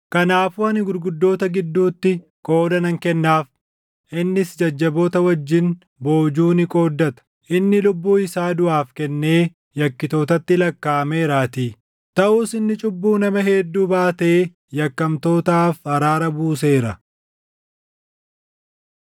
Kanaafuu ani gurguddoota gidduutti qooda nan kennaaf; innis jajjaboota wajjin boojuu ni qooddata; inni lubbuu isaa duʼaaf kennee yakkitootatti lakkaaʼameeraatii. Taʼus inni cubbuu nama hedduu baatee yakkamtootaaf araara buuseera.